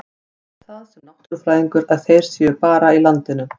Ég held það, sem náttúrufræðingur, að þeir séu bara í landinu.